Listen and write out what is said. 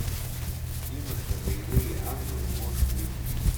киношка боевые ангелы можешь включить